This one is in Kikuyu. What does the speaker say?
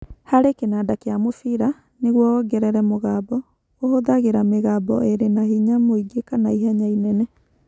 Harĩ kĩnanda kĩa mũbira, nĩguo wongerere mũgambo, ũhũthagĩra mĩgambo ĩrĩ na hinya mũingĩ kana ihenya inene.